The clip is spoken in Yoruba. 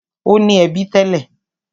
Ó ní ẹbí tẹ́lẹ̀.